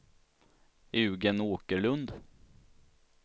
Eugén Åkerlund